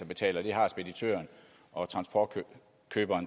betale og det har speditøren og transportkøberen